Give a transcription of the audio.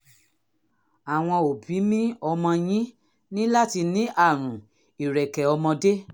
àwọn òbí mi ọmọ yín ní láti ní àrùn ìrẹ̀kẹ́ ọmọdé